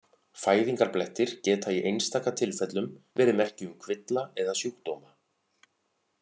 Fæðingarblettir geta í einstaka tilfellum verið merki um kvilla eða sjúkdóma.